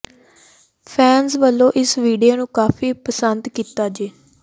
fans ਵੱਲੋਂ ਇਸ video ਨੂੰ ਕਾਫੀ ਪੰਸਦ ਕੀਤਾ ਜ